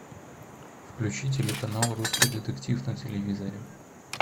включи телеканал русский детектив на телевизоре